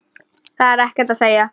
Það er ekkert að segja.